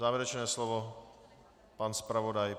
Závěrečné slovo pan zpravodaj.